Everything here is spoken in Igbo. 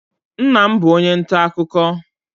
Nna m bụ onye nta akụkọ.